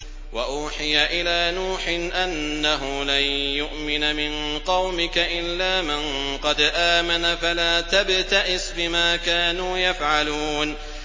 وَأُوحِيَ إِلَىٰ نُوحٍ أَنَّهُ لَن يُؤْمِنَ مِن قَوْمِكَ إِلَّا مَن قَدْ آمَنَ فَلَا تَبْتَئِسْ بِمَا كَانُوا يَفْعَلُونَ